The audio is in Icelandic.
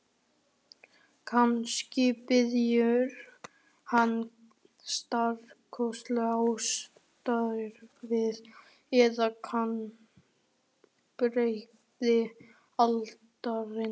Kannski bíður hans stórkostlegt ástarævintýri eða vonbrigði aldarinnar.